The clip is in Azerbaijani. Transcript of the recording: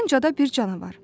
Dalınca da bir canavar.